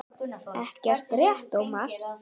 Ekki rétt Ómar?